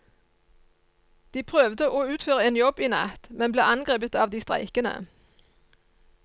De prøvde å utføre en jobb i natt, men ble angrepet av de streikende.